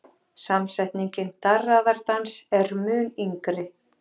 Samsetningin darraðardans er mun yngri.